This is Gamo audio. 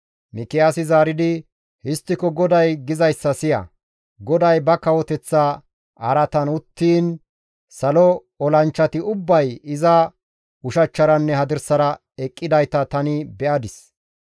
Mikiyaasi zaaridi, «Histtiko GODAY gizayssa siya! GODAY ba kawoteththa araatan uttiin salo olanchchati ubbay iza ushachcharanne hadirsara eqqidayta tani be7adis.